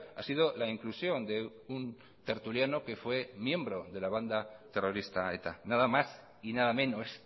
ha sido la inclusión de un tertuliano que fue miembro de la banda terrorista eta nada más y nada menos